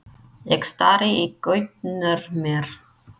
Ég stari í gaupnir mér.